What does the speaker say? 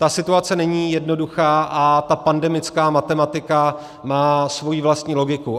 Ta situace není jednoduchá a ta pandemická matematika má svoji vlastní logiku.